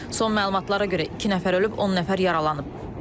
Son məlumatlara görə iki nəfər ölüb, 10 nəfər yaralanıb.